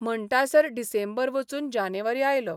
म्हणटासर डिसेंबर वचून जानेवारी आयलो.